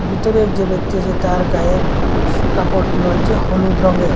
বিতরের যে ব্যক্তি আসে তার গায়ের স কাপড়টি হচ্চে হলুদ রঙ্গের ।